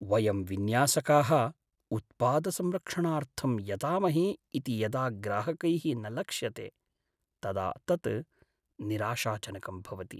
वयं विन्यासकाः उत्पादसंरक्षणार्थं यतामहे इति यदा ग्राहकैः न लक्षयते तदा तत् निराशाजनकं भवति।